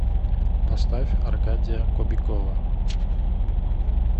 поставь аркадия кобякова